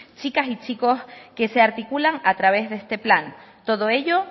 chicas y chicos que se articulan a través de este plan todo ello